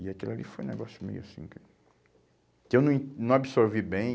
E aquilo ali foi um negócio meio assim que, que eu não en, não absorvi bem.